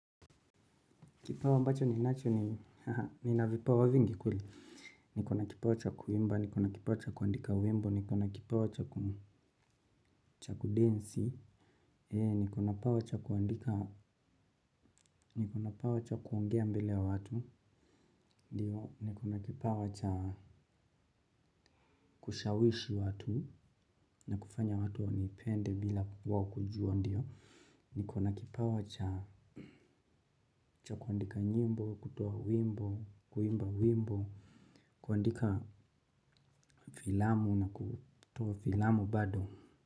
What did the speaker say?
Kipawa ambacho ninacho ni nina vipawa vingi kweli. Niko na kipawa cha kuimba, niko na kipawa cha kuandika wimbo, niko na kipawa cha kudensi, niko na kipawa cha kuandika, niko na kipawa cha kuongea mbele ya watu, niko na kipawa cha kushawishi watu na kufanya watu wanipende bila wao kujua ndio. Niko na kipawa cha kuandika nyimbo, kutoa wimbo, kuimba wimbo, kuandika filamu na kutoa filamu bado.